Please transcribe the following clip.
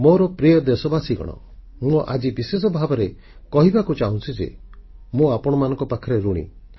ମୋର ପ୍ରିୟ ଦେଶବାସୀଗଣ ମୁଁ ଆଜି ବିଶେଷ ଭାବେ କହିବାକୁ ଚାହୁଁଛି ଯେ ମୁଁ ଆପଣଙ୍କ ପାଖରେ ଋଣୀ